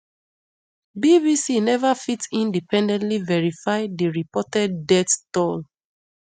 bbc neva fit independently verify di reported death toll